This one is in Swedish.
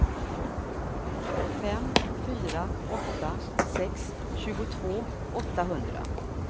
fem fyra åtta sex tjugotvå åttahundra